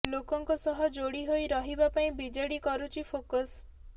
ଲୋକଙ୍କ ସହ ଯୋଡ଼ି ହୋଇ ରହିବା ପାଇଁ ବିଜେଡି କରୁଛି ଫୋକସ୍